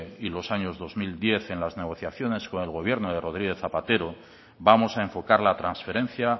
y los años dos mil diez en las negociaciones con el gobierno de rodríguez zapatero vamos a enfocar la transferencia